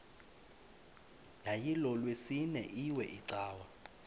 yayilolwesine iwe cawa